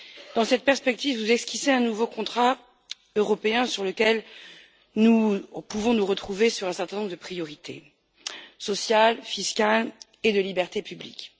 Dans cette perspective, vous esquissez un nouveau contrat européen sur lequel nous pouvons nous retrouver sur un certain nombre de priorités sociales, fiscales et de libertés publiques.